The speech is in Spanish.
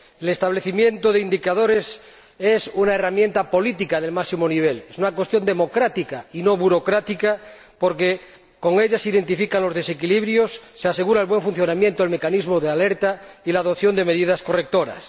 El establecimiento de indicadores es una herramienta política del máximo nivel, es una cuestión democrática y no burocrática, porque con ella se identifican los desequilibrios, se asegura el buen funcionamiento, el mecanismo de alerta y la adopción de medidas correctoras.